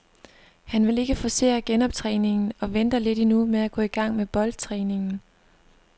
Han vil ikke forcere genoptræningen og venter lidt endnu med at gå i gang med boldtræningen.